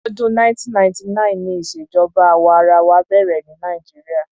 Ọdún 1999 ni ìṣèjọba àwa arawa bẹ̀rẹ̀ ní Nigeria.